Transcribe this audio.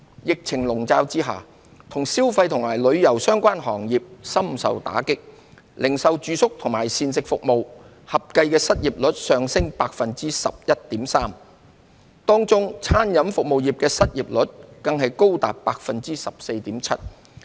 疫情籠罩下，與消費及旅遊相關行業深受打擊，零售、住宿及膳食服務業合計的失業率上升至 11.3%， 當中餐飲服務業的失業率更高達 14.7%。